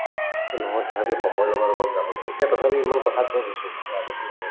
এই নহয় তথাপিও সময়ৰ লগত অলপ যাব লাগে এতিয়া তথাপি ইমান কথা কোৱা হৈছো নহলে আগতো নকওয়ে